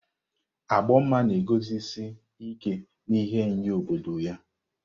Agbomma na-eguzosi ike n'ihe nye obodo ya.